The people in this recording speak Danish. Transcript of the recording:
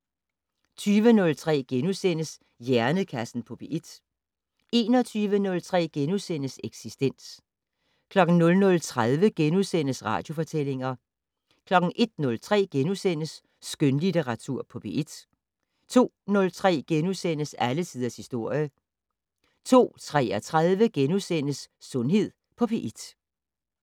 20:03: Hjernekassen på P1 * 21:03: Eksistens * 00:30: Radiofortællinger * 01:03: Skønlitteratur på P1 * 02:03: Alle tiders historie * 02:33: Sundhed på P1 *